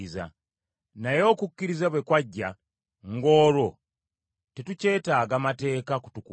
Naye okukkiriza bwe kwajja, ng’olwo tetukyetaaga mateeka kutukuuma.